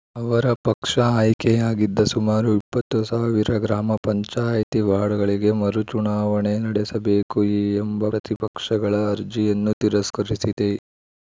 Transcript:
ಅವರ ಪಕ್ಷ ಆಯ್ಕೆಯಾಗಿದ್ದ ಸುಮಾರು ಇಪ್ಪತ್ತು ಸಾವಿರ ಗ್ರಾಮ ಪಂಚಾಯ್ತಿ ವಾರ್ಡ್‌ಗಳಿಗೆ ಮರುಚುನಾವಣೆ ನಡೆಸಬೇಕು ಎಂಬ ಪ್ರತಿಪಕ್ಷಗಳ ಅರ್ಜಿಯನ್ನು ತಿರಸ್ಕರಿಸಿದೆ